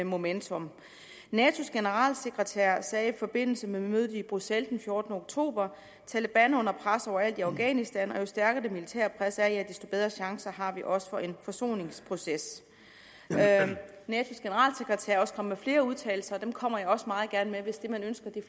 momentum natos generalsekretær sagde i forbindelse med mødet i bruxelles den fjortende oktober taleban er under pres over alt i afghanistan og jo stærkere det militære pres er ja desto bedre chancer har vi også for en forsoningsproces natos generalsekretær er også kommet med flere udtalelser og dem kommer jeg også meget gerne med hvis det man ønsker